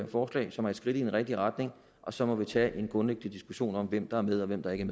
forslag som er et skridt i den rigtige retning og så må vi tage en grundlæggende diskussion om hvem der er med og hvem der ikke